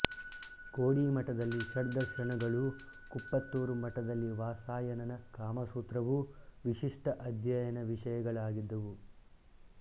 ಕೋಡಿಮಠದಲ್ಲಿ ಷಡ್ದರ್ಶನಗಳೂ ಕುಪ್ಪತ್ತೂರು ಮಠದಲ್ಲಿ ವಾತ್ಸಾಯನನ ಕಾಮಸೂತ್ರವೂ ವಿಶಿಷ್ಟ ಅಧ್ಯಯನ ವಿಷಯಗಳಾಗಿದ್ದುವು